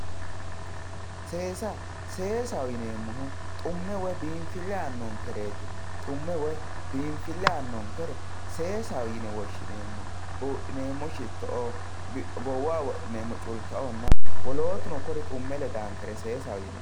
Seesa seesaho yinemohu xu'me woy binfile anonkereti xu'me woy binfile anonkere seesaho yine woshinemo budhinemo shitoo gowaho wodhinemo culikaonna wolotuni kuni xu'me ledankere seesaho yinemo